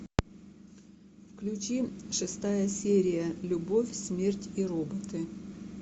включи шестая серия любовь смерть и роботы